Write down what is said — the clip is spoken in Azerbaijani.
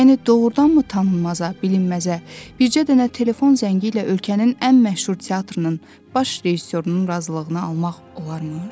Yəni doğurdanmı tanınmaza, bilinməzə, bircə dənə telefon zəngi ilə ölkənin ən məşhur teatrının baş rejissorunun razılığını almaq olarmış?